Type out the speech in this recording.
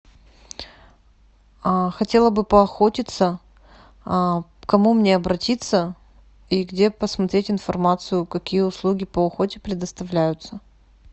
хотела бы поохотиться к кому мне обратиться и где посмотреть информацию какие услуги по охоте предоставляются